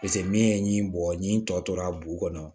min ye ɲin bɔ ɲi n tɔ tora bu kɔnɔ